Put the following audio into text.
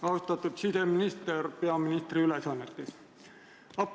Austatud siseminister peaministri ülesannetes!